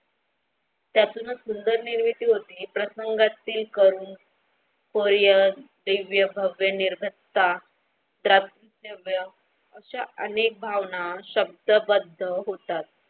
त्यातूनच सुंदर नेवेद्य होते प्रसंगातील करून होय निर्भरता प्राप्त असे अनेक भावना शब्दबद्ध होता.